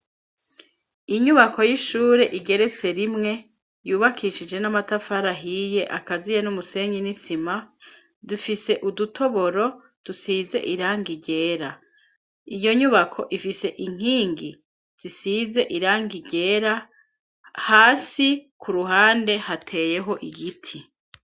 Inyubako y'ishure igeretse rimwe yubakishije n'amatafari ahiye akaziye n'umusenyi n'isima dufise udutoboro dusize irangi ryera, iyo nyubako ifise inkingi zisize irangi ryera, hasi ku ruhande hateyeho igiti.